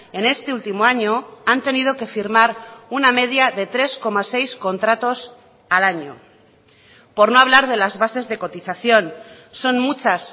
en este último año han tenido que firmar una media de tres coma seis contratos al año por no hablar de las bases de cotización son muchas